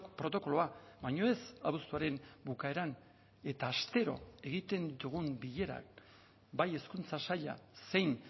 protokoloa baino ez abuztuaren bukaeran eta astero egiten ditugun bilerak bai hezkuntza saila zein